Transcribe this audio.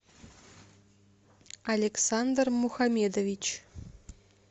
александр мухамедович